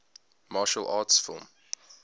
martial arts film